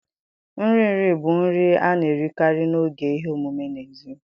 Nri nri bụ nri a na-erikarị n'oge ihe omume n'èzí